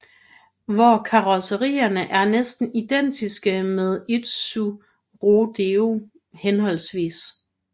Hvor karrosserierne er næsten identiske med Isuzu Rodeo hhv